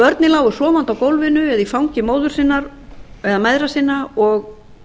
börnin lágu sofandi á gólfinu eða í fangi móður sinnar eða mæðra sinna og